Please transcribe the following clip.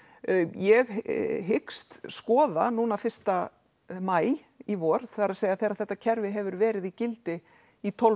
ég hyggst skoða núna fyrsta maí í vor það er þegar þetta kerfi hefur verið í gildi í tólf